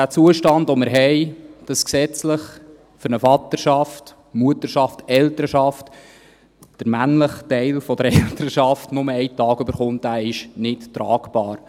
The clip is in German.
Der Zustand, den wir haben, dass für eine Vaterschaft, Mutterschaft, Elternschaft der männliche Teil der Elternschaft gesetzlich nur einen Tag erhält, ist nicht tragbar.